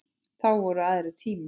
Þá voru aðrir tímar.